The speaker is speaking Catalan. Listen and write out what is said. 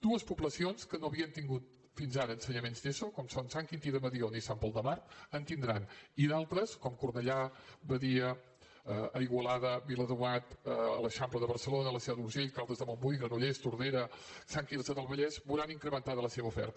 dues poblacions que no havien tingut fins ara ensenyaments d’eso com són sant quintí de mediona i sant pol de mar en tindran i d’altres com cornellà badia igualada viladomat a l’eixample de barcelona la seu d’urgell caldes de montbui granollers tordera sant quirze del vallès veuran incrementada la seva oferta